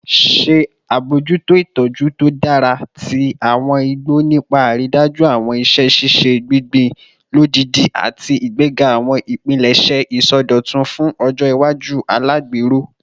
Ṣe abojuto itọju to dara ti awọn igbo nipa aridaju awọn iṣẹ ṣiṣe gbingbin lodidi ati igbega awọn ipilẹṣẹ isọdọtun fun ọjọ iwaju alagbero